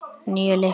Níu lyklar.